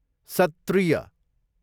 सत्त्रीय